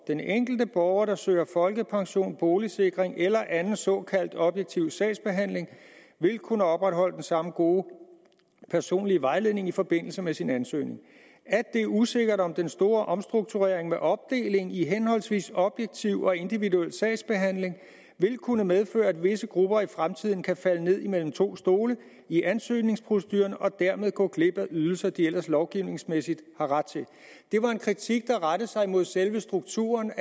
den enkelte borger der søger folkepension boligsikring eller anden såkaldt objektiv sagsbehandling vil kunne opretholde den samme gode personlige vejledning i forbindelse med sin ansøgning at det er usikkert om den store omstrukturering med opdeling i henholdsvis objektiv og individuel sagsbehandling vil kunne medføre at visse grupper i fremtiden kan falde ned mellem to stole i ansøgningsproceduren og dermed gå glip af ydelser de ellers lovgivningsmæssigt har ret til det var en kritik der rettede sig imod selve strukturen